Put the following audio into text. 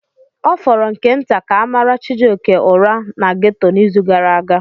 Ọ fọrọ nke nta ka a mara Chijioke ụra na ghetto n'izu gara aga.